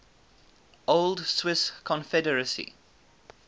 old swiss confederacy